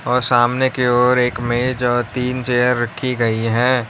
और सामने की ओर एक मेज और तीन चेयर रखी गई है।